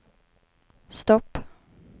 stopp